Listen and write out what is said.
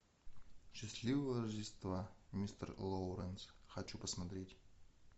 счастливого рождества мистер лоуренс хочу посмотреть